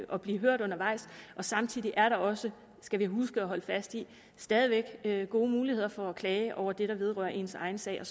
og blive hørt undervejs samtidig er der også skal vi huske at holde fast i stadig væk gode muligheder for at klage over det der vedrører ens egen sag og